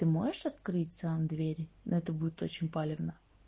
ты можешь открыть сам двери но это будет очень палевно